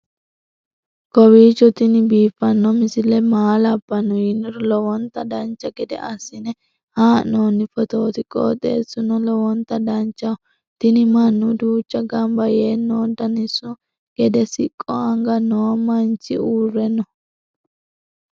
kowiicho tini biiffanno misile maa labbanno yiniro lowonta dancha gede assine haa'noonni foototi qoxeessuno lowonta danachaho. tini mannu duuchu gamba yee no daniso gede siqqo anga noo manichi uurre no